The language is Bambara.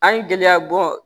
An ye gɛlɛya bɔ